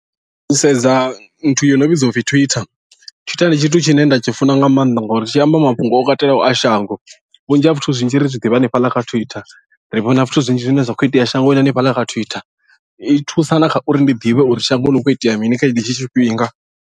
Ndi sedza nthu yo no vhidzwa upfhi twitter, twitter ndi tshithu tshine nda tshi funa nga maanḓa ngori tshi amba mafhungo o katelaho a shango vhunzhi ha zwithu zwinzhi ri zwi ḓivha hanefhaḽa kha twitter ri vhona zwithu zwinzhi zwine zwa kho itea shangoni hanefhaḽa kha twitter i thusa na kha uri ndi ḓivhe uri shangoni hu kho itea mini kha henetshi tshifhinga.